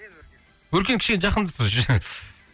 өркен кішкене жақындасаңшы